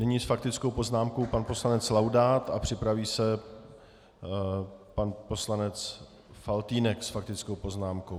Nyní s faktickou poznámkou pan poslanec Laudát a připraví se pan poslanec Faltýnek s faktickou poznámkou.